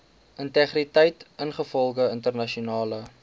integriteit ingevolge internasionale